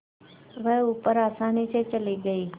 वह ऊपर आसानी से चली गई